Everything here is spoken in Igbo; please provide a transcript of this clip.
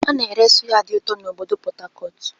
A na-ere sụ́yá dị ụtọ na obodo Port Harcourt.